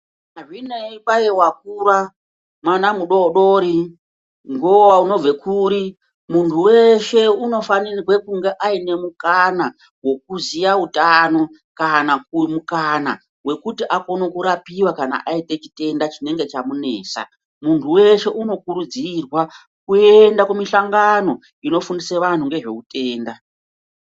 Hazvinei kwai wakura , mwana mudodori, unobve kuri muntu weshe unofanirwe kunge aine mukana wekuziya utano kana kupuwe mukana wekuti akone kurapiwa kana aite chitenda chinenge chamunesa. Muntu weshe unokurudzirwa kuenda kumishongano unofundisa vantu ngezveutenda.